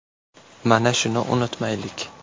Mana shuni unutmaylik.